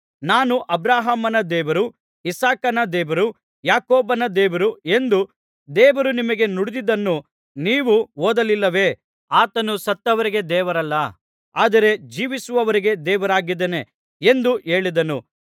ನಾನು ಅಬ್ರಹಾಮನ ದೇವರು ಇಸಾಕನ ದೇವರು ಯಾಕೋಬನ ದೇವರು ಎಂದು ದೇವರು ನಿಮಗೆ ನುಡಿದಿದ್ದನ್ನು ನೀವು ಓದಲಿಲ್ಲವೇ ಆತನು ಸತ್ತವರಿಗೆ ದೇವರಲ್ಲ ಆದರೆ ಜೀವಿಸುವವರಿಗೆ ದೇವರಾಗಿದ್ದಾನೆ ಎಂದು ಹೇಳಿದನು